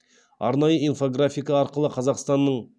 арнайы инфографика арқылы қазақстанның